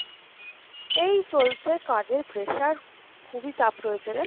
এই চলছে কাজের pressure, খুবিই চাপ রয়েছে রে।